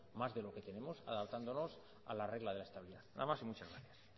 más de lo que tenemos adaptándonos a la de la estabilidad nada más y muchas gracias